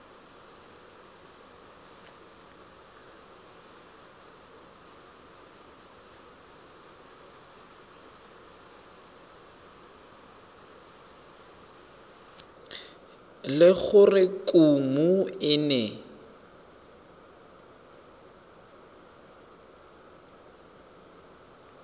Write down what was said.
le gore kumo e ne